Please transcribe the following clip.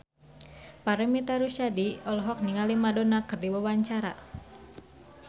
Paramitha Rusady olohok ningali Madonna keur diwawancara